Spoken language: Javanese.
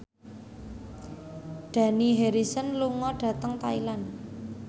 Dani Harrison lunga dhateng Thailand